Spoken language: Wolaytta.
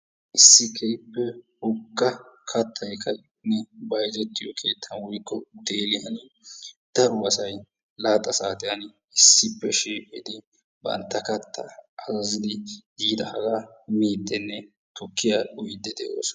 Issi keehippe wogga kaattay ka'iyonne bayzettyo keettan woyikko utteliyan daro asay laaxa saatiyan issippe shiiqidi bantta katta azazidi yidagga miidinne tukiyaa uyiyid de'ossona.